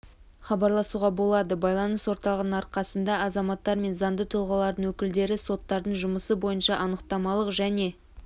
хабарласуға болады байланыс орталығының арқасында азаматтар мен заңды тұлғалардың өкілдері соттардың жұмысы бойынша анықтамалық және